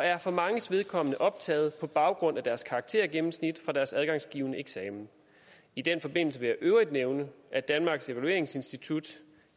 er for manges vedkommende optaget på baggrund af deres karaktergennemsnit fra deres adgangsgivende eksamen i den forbindelse vil øvrigt nævne at danmarks evalueringsinstitut